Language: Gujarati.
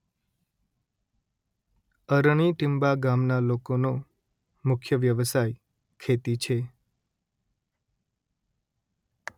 અરણી ટીંબા ગામના લોકોનો મુખ્ય વ્યવસાય ખેતી છે